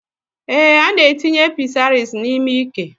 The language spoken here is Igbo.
Èé, ana etinye pịsaris n'ime ike